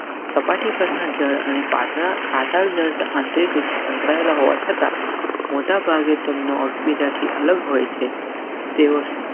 સપાટી પરના જને પાત્ર પાછળ આંતરિક રીતે સંકળાયેલા હોવા છતાં મોટા ભાગે તેમનો બીજાથી અલગ હોય છે.